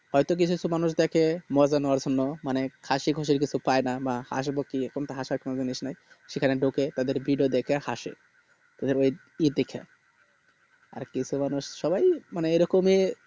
হয় তো কিছু কিছু মানুষ দেখে মজা নেওয়ার জন্য মানে হাসি খুশির কিছু পাইনা বা হাসি বা কি হাসার কোন জিনিস না সেখানে ঢুকে তাদের video দেখে হাসে তাদের ও ই দেখে আর কিছু মানুষ মানে সবাই ই এ রকম ই